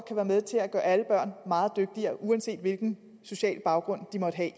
kan være med til at gøre alle børn meget dygtigere uanset hvilken social baggrund de måtte have